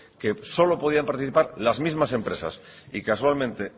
que solo podían participar las mismas empresas y casualmente